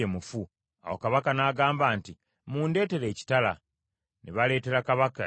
Awo kabaka n’agamba nti, “Mundeetere ekitala.” Ne baleetera kabaka ekitala.